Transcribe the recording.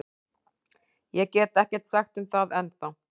Ég get ekkert sagt um það ennþá.